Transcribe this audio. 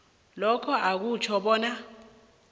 lokhu akutjho bona